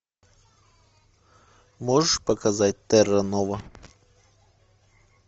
можешь показать терра нова